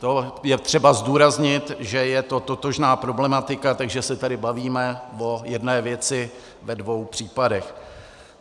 To je třeba zdůraznit, že je to totožná problematika, takže se tady bavíme o jedné věci ve dvou případech.